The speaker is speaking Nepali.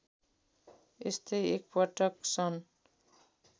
यस्तै एकपटक सन्